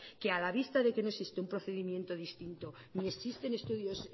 que a la vista de que no existe un procedimiento distinto ni existen estudios